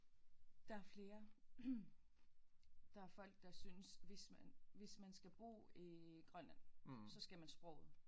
Der er flere der er folk der synes hvis man hvis man skal bo i Grønland så skal man sproget